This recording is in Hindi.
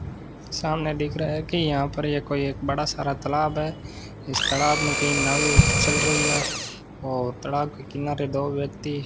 सामने दिख रहा है कि यहां पर ये कोई एक बड़ा सारा तालाब है इस तालाब में कई नावे चल रही है और तलाब के किनारे दो व्यक्ति --